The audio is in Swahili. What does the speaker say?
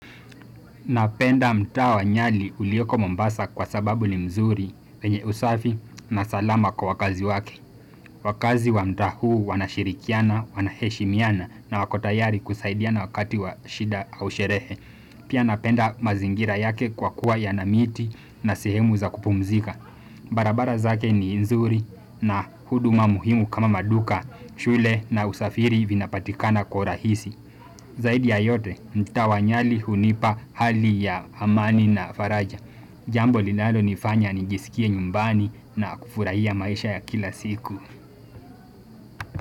Napenda mtaa wa nyali ulioko mombasa kwa sababu ni mzuri wenye usafi na salama kwa wakazi wake. Wakazi wa mtaa huu wanashirikiana, wanaheshimiana na wako tayari kusaidiana wakati wa shida au sherehe. Pia napenda mazingira yake kwa kuwa yana miti na sehemu za kupumzika. Barabara zake ni nzuri na huduma muhimu kama maduka, shule na usafiri vinapatikana kwa urahisi. Zaidi ya yote mtaa wa Nyali hunipa hali ya amani na faraja. Jambo linalonifanya nijisikie nyumbani na kufurahia maisha ya kila siku.